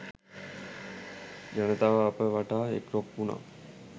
ජනතාව අප වටා එක්රොක් වුණා.